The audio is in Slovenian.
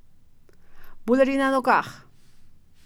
Bulerji na nogah.